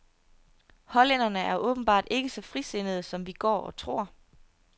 Hollænderne er åbenbart ikke så frisindede, som vi går og tror.